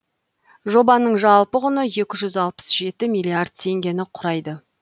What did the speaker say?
жобаның жалпы құны екі жүз алпыс жеті миллиард теңгені құрайды